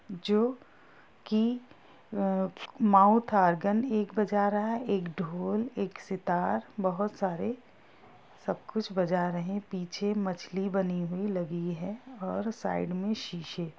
जो कि mouth organ एक बजा रहा है एक ढोल एक सितार बहुत सारे सब कुछ बजा रहे पीछे मछली बनी हुई लगी हैं और साइड मे शीशे |